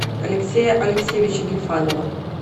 алексея алексеевича гильфанова